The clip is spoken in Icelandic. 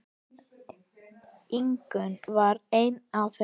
Ingunn var ein af þeim.